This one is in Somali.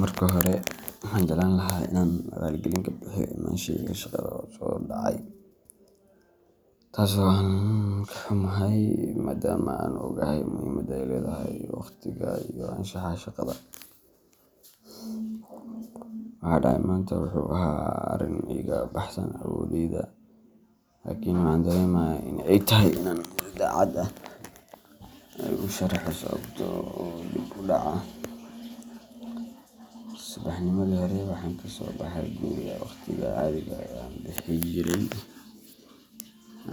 Marka hore, waxaan jeclaan lahaa inaan raali gelin ka bixiyo imaanshahayga shaqada oo dhacay, taas oo aan ka xumahay, maadaama aan ogahay muhiimadda ay leedahay waqtiga iyo anshaxa shaqada. Waxa dhacay maanta wuxuu ahaa arrin iga baxsan awooddayda, laakiin waxaan dareemayaa in ay tahay inaan si daacad ah ugu sharaxo sababta dib u dhaca. Subaxnimadii hore waxaan kasoo baxay guriga waqtigii caadiga ahaa ee aan bixin jiray,